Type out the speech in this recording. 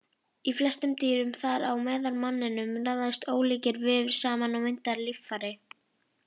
Í flestum dýrum, þar á meðal manninum, raðast ólíkir vefir saman og mynda líffæri.